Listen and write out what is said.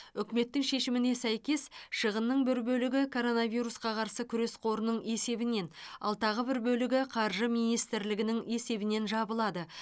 үкіметтің шешіміне сәйкес шығынның бір бөлігі коронавирусқа қарсы күрес қорының есебінен ал тағы бір бөлігі қаржы министрлігінің есебінен жабылады